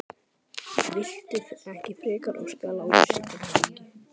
Viltu ekki frekar óska Lárusi til hamingju?